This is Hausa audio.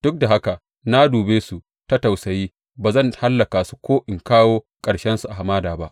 Duk da haka na dube su ta tausayi ba zan hallaka su ko in kawo ƙarshensu a hamada ba.